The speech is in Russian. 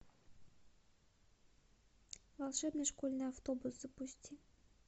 волшебный школьный автобус запусти